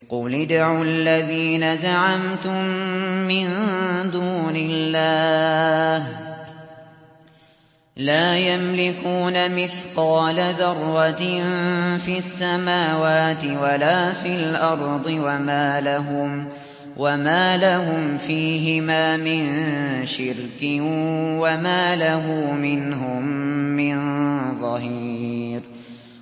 قُلِ ادْعُوا الَّذِينَ زَعَمْتُم مِّن دُونِ اللَّهِ ۖ لَا يَمْلِكُونَ مِثْقَالَ ذَرَّةٍ فِي السَّمَاوَاتِ وَلَا فِي الْأَرْضِ وَمَا لَهُمْ فِيهِمَا مِن شِرْكٍ وَمَا لَهُ مِنْهُم مِّن ظَهِيرٍ